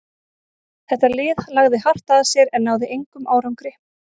Þetta lið lagði hart að sér en náði engum árangri.